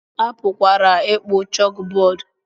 A pụkwara ịkpọ chókbọọdụ